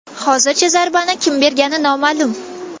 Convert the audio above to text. Hozircha zarbani kim bergani noma’lum.